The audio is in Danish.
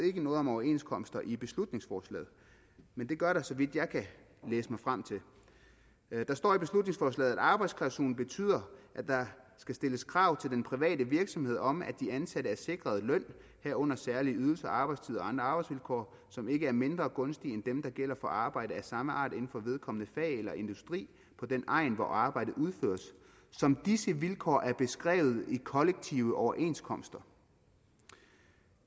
noget om overenskomster i beslutningsforslaget men det gør der så vidt jeg kan læse mig frem til der står i beslutningsforslaget at arbejdsklausulen betyder at der skal stilles krav til den private virksomhed om at de ansatte er sikret løn herunder særlige ydelser arbejdstid og andre arbejdsvilkår som ikke er mindre gunstige end dem der gælder for arbejde af samme art inden for vedkommende fag eller industri på den egn hvor arbejdet udføres som disse vilkår er beskrevet i kollektive overenskomster